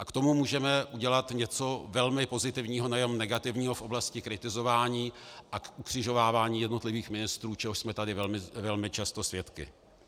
A k tomu můžeme udělat něco velmi pozitivního, nejenom negativního v oblasti kritizování a ukřižovávání jednotlivých ministrů, čehož jsme tady velmi často svědky.